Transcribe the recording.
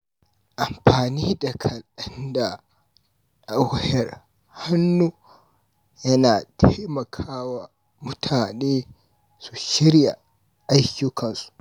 Amfani da kalanda na wayar hannu yana taimaka wa mutane su shirya ayyukansu.